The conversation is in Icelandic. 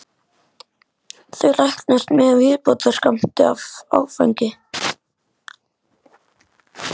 Þau læknast með viðbótarskammti af áfengi.